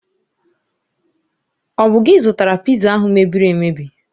Ọ bụ gi zụtara Piza ahụ mebiri emebi?